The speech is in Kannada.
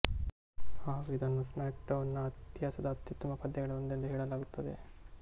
ಹಾಗು ಇದನ್ನು ಸ್ಮ್ಯಾಕ್ ಡೌನ್ ನ ಇತಿಹಾಸದ ಅತ್ಯುತ್ತಮ ಪಂದ್ಯಗಳಲ್ಲಿ ಒಂದೆಂದೂ ಹೇಳಲಾಗುತ್ತದೆ